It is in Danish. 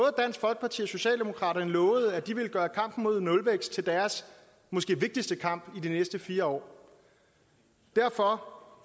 socialdemokraterne lovede at de ville gøre kampen mod nulvækst til deres måske vigtigste kamp i de næste fire år derfor